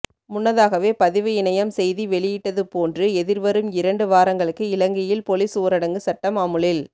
முன்னதாகவே பதிவு இணையம் செய்தி வெளியிட்டது போன்று எதிர் வரும் இரண்டு வாரங்களுக்கு இலங்கையில் பொலிஸ் ஊரடங்கு சட்டம் அமுலில்